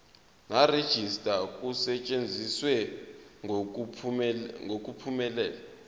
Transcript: nerejista kusetshenziswe ngokuphumelela